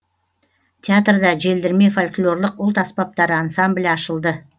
театрда желдірме фольклорлық ұлт аспаптары ансамблі ашылды